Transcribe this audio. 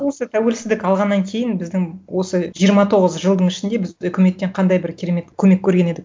осы тәуелсіздік алғаннан кейін біздің осы жиырма тоғыз жылдың ішінде біз үкіметтен қандай бір керемет көмек көрген едік